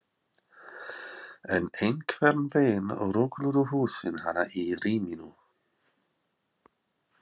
En einhvern veginn rugluðu húsin hana í ríminu.